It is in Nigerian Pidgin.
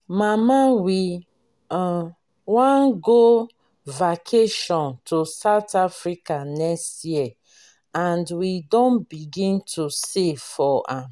mama we um wan go vacation to south africa next year and we don begin to save for am.